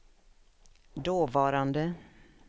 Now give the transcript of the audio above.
dåvarande